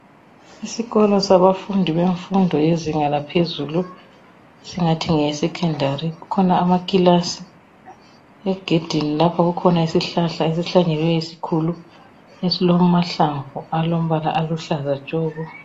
Isikolo sabafundi bemfundo yezinga laphezulu esingathi ngeyesecondary kukhona amakilasi, egedini lapha kukhona isihlahla esihlanyeliweyo esikhulu esilamahlamvu alombala oluhlaza tshoko.